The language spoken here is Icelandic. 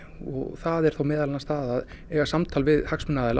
það er þá meðal annars það að eiga samtal við hagsmunaaðila